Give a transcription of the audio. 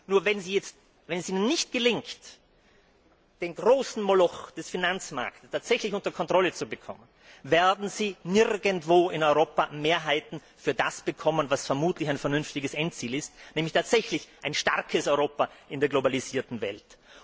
Nur wenn es Ihnen nicht gelingt, den großen Moloch des Finanzmarkts tatsächlich unter Kontrolle zu bekommen, werden Sie nirgendwo in Europa Mehrheiten für das bekommen, was vermutlich ein vernünftiges Endziel ist, nämlich ein starkes Europa in der globalisierten Welt.